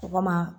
O kama